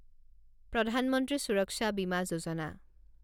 প্ৰধান মন্ত্ৰী সুৰক্ষা বিমা যোজনা